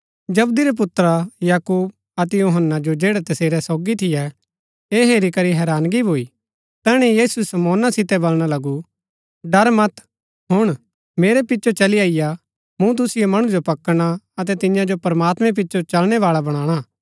जबदी रै पुत्रा याकूब अतै यूहन्‍ना जो जैड़ै तसेरै सोगी थियै ऐह हेरी करी हैरानगी भूई तैहणै यीशु शमौना सितै वलणा लगू डर मत हुण मेरै पिचो चली अईआ मूँ तुसिओ मणु जो पकडणा अतै तियां जो प्रमात्मैं पिचो चलणै बाळा बणाना